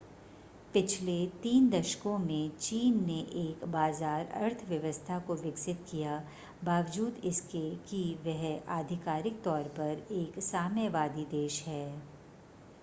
पिछले तीन दशकों में चीन ने एक बाज़ार अर्थव्यवस्था को विकसित किया बावजूद इसके कि वह आधिकारिक तौर पर एक साम्यवादी देश है